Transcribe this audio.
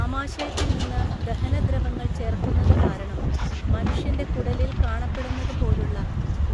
ആമാശയത്തിൽ നിന്ന് ദഹനദ്രവങ്ങള്‍ ചേർക്കുന്നത് കാരണം മനുഷ്യന്‍റെ കുടലിൽ കാണപ്പെടുന്നത് പോലുള്ള